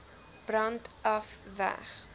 brand af weg